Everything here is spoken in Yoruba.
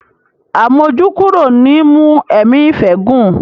Àmójúkúrò ni í mú ẹ̀mí ìfẹ́ gùn.